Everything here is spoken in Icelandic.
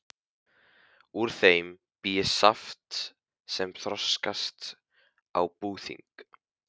Úr þeim bý ég saft sem þroskast út á búðing.